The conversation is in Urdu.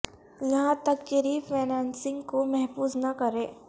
یہاں تک کہ ری فنانسنگ کو محفوظ نہ کریں